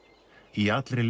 í allri